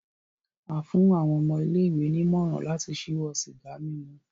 A fún àwọn ọmọ ilé-ìwé ní ìmọ̀ràn láti ṣíwọ́ sìgá mímu